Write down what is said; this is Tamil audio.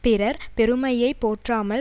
பிறர் பெருமையை போற்றாமல்